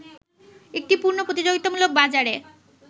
একটি পূর্ণ প্রতিযোগিতামূলক বাজারে